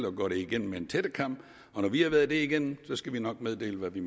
og går det igennem med en tættekam og når vi har været det igennem skal vi nok meddele hvad vi